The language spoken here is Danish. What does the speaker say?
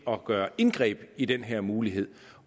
at gøre indgreb i den her mulighed